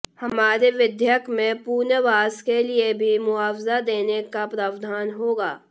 हमारे विधेयक में पुनर्वास के लिए भी मुआवजा देने का प्रावधान होगा